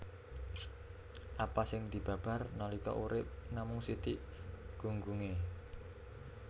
Apa sing dibabar nalika urip namung sithik gunggungé